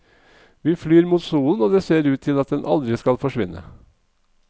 Vi flyr mot solen og det ser ut til at den aldri skal forsvinne.